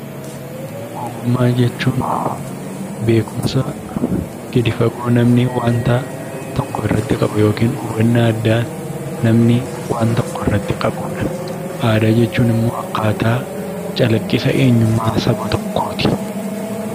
Ogummaa jechuun beekumsa gadi fagoo namni waanta tokko irratti qabu yookiin hubannaa addaa namni waan tokko irratti qabudha. Aadaa jechuun immoo akkaataa calaqqisa eenyummaa saba tokkooti.